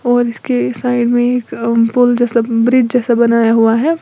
और इसके साइड में एक पुल जैसा ब्रिज जैसा बनाया हुआ है।